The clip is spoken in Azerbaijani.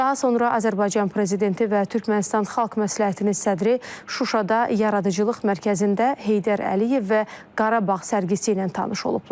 Daha sonra Azərbaycan Prezidenti və Türkmənistan Xalq Məsləhətinin sədri Şuşada Yaradıcılıq Mərkəzində Heydər Əliyev və Qarabağ sərgisi ilə tanış olublar.